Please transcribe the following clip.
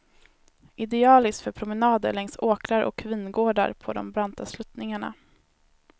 Idealiskt för promenader längs åkrar och vingårdar på de branta sluttningarna.